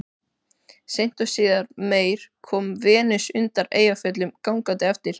Seint og síðar meir kom Venus undan Eyjafjöllum gangandi eftir